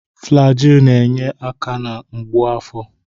Flaji na-enyere aka na mgbu afọ.